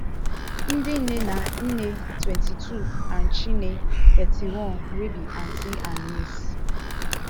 ndinne na nne twenty-two and chinne thirty-one wey be aunty and niece